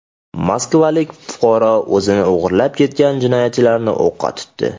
Moskvalik fuqaro o‘zini o‘g‘irlab ketgan jinoyatchilarni o‘qqa tutdi.